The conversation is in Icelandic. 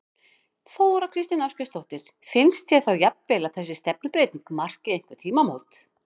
Þóra Kristín Ásgeirsdóttir: Finnst þér þá jafnvel að þessi stefnubreyting marki einhver tímamót?